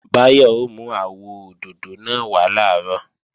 Báyọ̀ ó mú àwọ òdòdó náà wá làárọ̀